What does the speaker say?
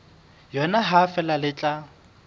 yona ha feela le tla